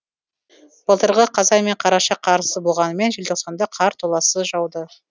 былтырғы қазан мен қараша қарсыз болғанымен желтоқсанда қар толассыз жауды